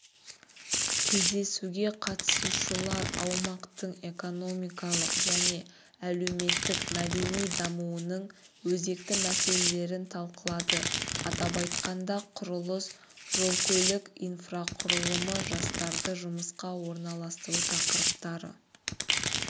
кездесуге қатысушылар аймақтың экономикалық және әлеуметтік-мәдени дамуының өзекті мәселелерін талқылады атап айтқанда құрылыс жол-көлік инфрақұрылымы жастарды жұмысқа орналастыру тақырыптары